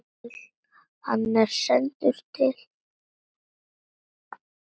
Hann er sendur til